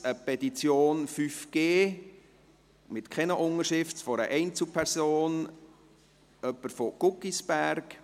zweitens eine Petition «5G», keine Unterschriften, einer Einzelperson aus Guggisberg;